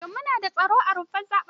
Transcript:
Shin mu nada tsaro a rumfar zaɓen?